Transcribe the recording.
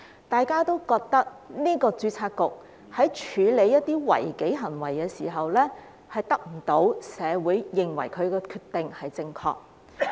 大家覺得註冊局在處理一些違紀行為的時候，得不到社會認同其決定是正確的。